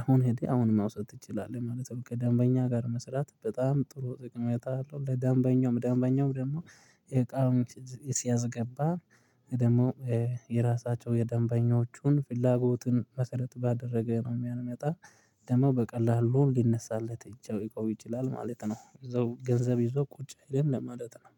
አሁን ሄደ አሁን መውሰድ ትችላለህ ማለት ነው። ከደንበኛ ጋር መስራት በጣም ጥሩ ጠቀሜታ አለው። ለደንበኛው ደንበኛውም ደግሞ እቃ ሲያስገባ ደግሞ የራሳቸው የደንበኞቹን ፍላጎትን መሰረት ባደረገ ነው የሚያመጣው ደግሞ በቀላሉ ሊነሳለት ይችላል እቃው ይችላል ማለት ነው። እዛው ገንዘብ ይዞ ቁጭ ግን ለማለት ነው